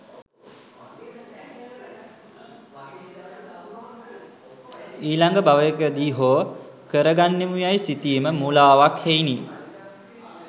ඊළඟ භවයකදී හෝ කරගන්නෙමු යැයි සිතීම මුළාවක් හෙයිනි.